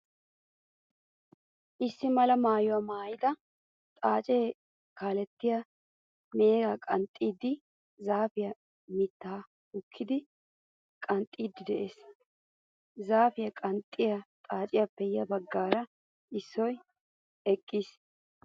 Issi mala maayuwaa maayida xaacee kalttan meega gakkida zaafiyaa mittaa hokkidi qanxxiiddi de"ees. Zaafiyaa qanxxiya xaaciyaappe ya baggaara issoy eqqiis.